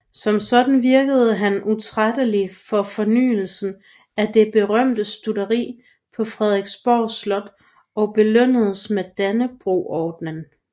Som sådan virkede han utrættelig for fornyelsen af det berømte stutteri på Frederiksborg Slot og belønnedes med Dannebrogordenen